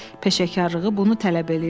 Peşəkarlığı bunu tələb eləyirdi.